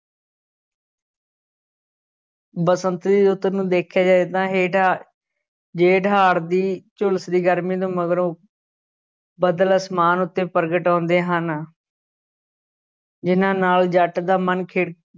ਬਸੰਤ ਦੀ ਰੁੱਤ ਨੂੰ ਦੇਖਿਆ ਜਾਏ ਤਾਂ ਹੇਠਾਂ ਜੇਠ-ਹਾੜ੍ਹ ਦੀ ਝੁਲਸਦੀ ਗਰਮੀ ਤੋਂ ਮਗਰੋਂ ਬਦਲ ਅਸਮਾਨ ਉੱਤੇ ਪ੍ਰਗਟ ਹੁੰਦੇ ਹਨ ਜਿਨ੍ਹਾਂ ਨਾਲ ਜੱਟ ਦਾ ਮਨ ਖਿੜ